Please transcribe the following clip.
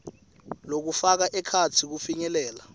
lokufaka ekhatsi kufinyelela